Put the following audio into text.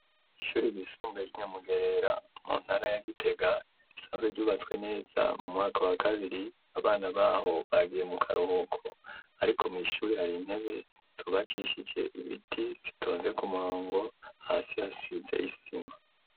Ishuri ryisumbuye, ry'i Nyamugerera, mu ntara ya Gitega, risanzwe ryubatswe neza; mu mwaka wa kabiri, abana b'aho bagiye mu karuhuko; ariko mw'ishuri, hari intebe, zubakishije ibiti, zitonze ku murongo; hasi hasize isima.